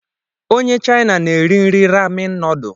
Onye China na-eri nri Ramen noodlu